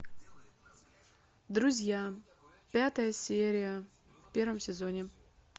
друзья пятая серия в первом сезоне